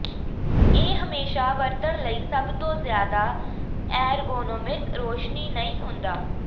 ਇਹ ਹਮੇਸ਼ਾਂ ਵਰਤਣ ਲਈ ਸਭ ਤੋਂ ਜ਼ਿਆਦਾ ਐਰਗੋਨੋਮਿਕ ਰੋਸ਼ਨੀ ਨਹੀਂ ਹੁੰਦਾ